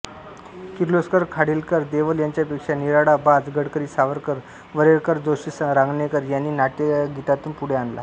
किर्लोस्कर खाडीलकर देवल यांच्यापेक्षा निराळा बाज गडकरी सावरकर वरेरकर जोशी रांगणेकर यांनी नाट्यगीतांतून पुढे आणला